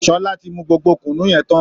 Sọlá ti mu gbogbo Kùnú yẹn tán